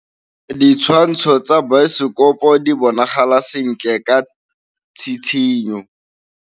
Ditshwantshô tsa biosekopo di bonagala sentle ka tshitshinyô.